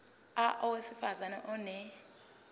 a owesifaz ane